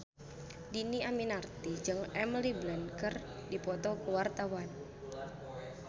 Dhini Aminarti jeung Emily Blunt keur dipoto ku wartawan